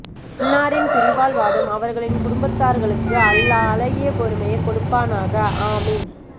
அன்னாரின் பிரிவால் வாடும் அவர்களின் குடும்பத்தார்களுக்கு அல்லாஹ் அழகிய பொறுமையை கொடுப்பானாக ஆமீன்